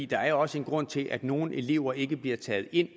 der er også en grund til at nogle elever ikke bliver taget ind